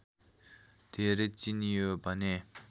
धेरै चिनियो भने